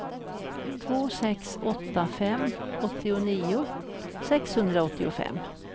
två sex åtta fem åttionio sexhundraåttiofem